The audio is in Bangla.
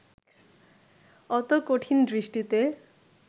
অত কঠিন দৃষ্টিতে